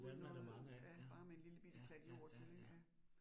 Uden noget ja bare med en lillebitte klat jord til ik ja